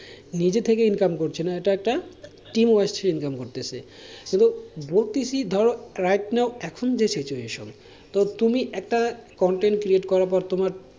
নিজে থেকে income করছে না এটা একটা team wise income করতেছে, কিন্তু বলতেছে ধরো right now এখন যে situation তুমি একটা content create করার পর তোমার,